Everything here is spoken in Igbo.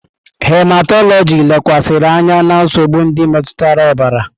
Hematọlọjị lekwasịrị anya na nsogbu ndị metụtara ọbara.